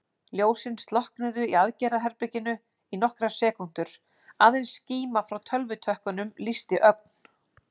Ljósin slokknuðu í aðgerðaherberginu í nokkrar sekúndur, aðeins skíma frá tölvutökkunum lýsti ögn.